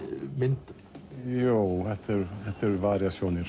myndum þetta eru